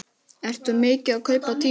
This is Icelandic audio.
Ertu mikið að kaupa tímarit?